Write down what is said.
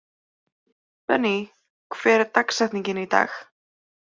Benney, hver er dagsetningin í dag?